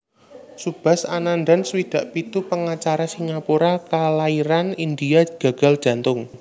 Subhas Anandan swidak pitu pangacara Singapura kalairan India gagal jantung